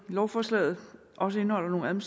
lovforslaget også indeholder nogle